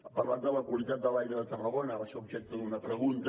ha parlat de la qualitat de l’aire de tarragona va ser objecte d’una pregunta